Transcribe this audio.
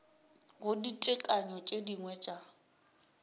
go ditekanyo tše dingwe tša